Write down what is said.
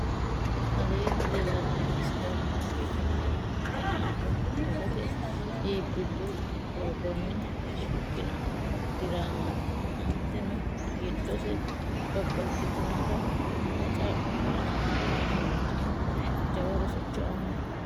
aleenni leellannori sidaamu afiinni qinaawe dagate iibbillu doogonni shiqino diramaati. aanteteno giddosi babbaxitinota bacca qara sokka amadino. jawa rosicho aanno.